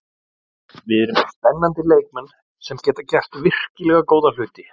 Við erum með spennandi leikmenn sem geta gert virkilega góða hluti.